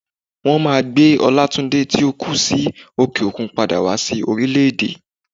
Wọn máà gbé Olátúndé tí ó kú sí òkè òkun padà wá sí orílẹ̀ èdè.